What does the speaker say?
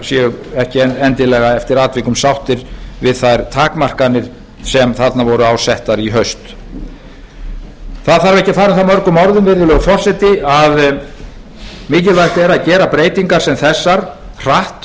séu ekki endilega eftir atvikum sáttir við þær takmarkanir sem þarna voru settar á í haust það þarf ekki að fara um það mörgum orðum virðulegi forseti að mikilvægt er að gera breytingar sem þessar hratt